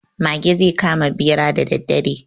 Mage zai kama ɓera da daddare.